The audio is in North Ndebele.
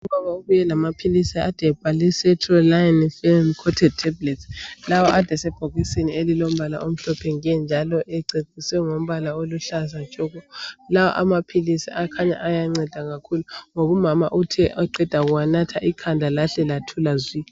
Ubaba ubuye lamaphilisi ade ebhalwe sestroline film coated tablets lawa ade esebhokisini elilombala omhlophe nke njalo ececiswe ngombala oluhlaza tshoko la amaphilisi akhanya ayanceda kakhulu ngoba umama uthe eqeda kuwanatha ikhanda lahle lathula zwi .